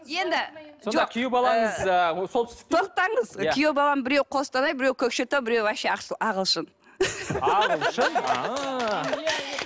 енді ы жоқ күйеу балаңыз ыыы солтүстіктен тоқтаңыз күйеу балам біреуі қостанай біреуі көкшетау біреуі вообще ағылшын ағылшын ыыы